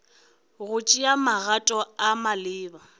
go tšea magato a maleba